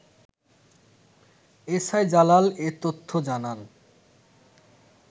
SI Jalal এ তথ্য জানান